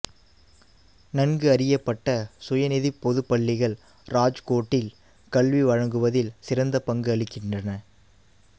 நன்கு அறியப்பட்ட சுயநிதிப் பொது பள்ளிகள் ராஜ்கோட்டில் கல்வி வழங்குவதில் சிறந்த பங்கு அளிக்கின்றன